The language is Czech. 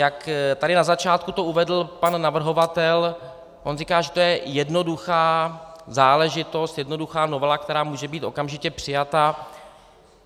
Jak tady na začátku to uvedl pan navrhovatel, on říká, že to je jednoduchá záležitost, jednoduchá novela, která může být okamžitě přijata.